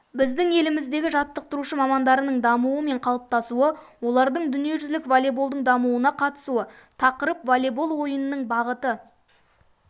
біздің еліміздегі жаттықтырушы мамандарының дамуы мен қалыптасуы олардың дүниежүзілік волейболдың дамуына қатысуы тақырып волейбол ойының бағыты